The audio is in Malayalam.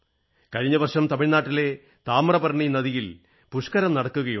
കഴിഞ്ഞ വർഷം തമിഴ്നാട്ടിലെ താമ്രപർണി നദിയിൽ പുഷ്കരം നടക്കുകയുണ്ടായി